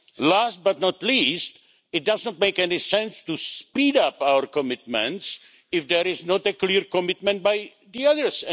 Last, but not least, it doesn't make any sense to speed up our commitments if there is not a clear commitment by the others